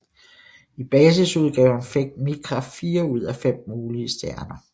I basisudgaven fik Micra fire ud af fem mulige stjerner